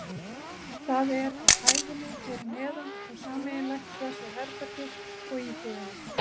Það er á hæðinni fyrir neðan og sameiginlegt þessu herbergi og íbúðinni.